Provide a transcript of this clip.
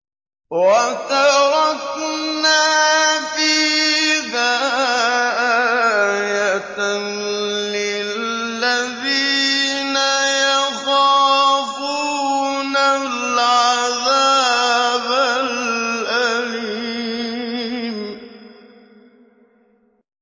وَتَرَكْنَا فِيهَا آيَةً لِّلَّذِينَ يَخَافُونَ الْعَذَابَ الْأَلِيمَ